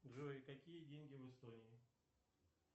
джой какие деньги в эстонии